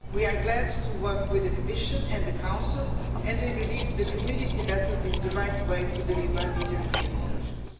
We are glad to work with the Commission and the Council and we believe the community method is the right way to deliver these European solutions.